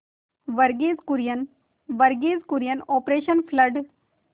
Verghese Kurien Verghese Kurien operation blood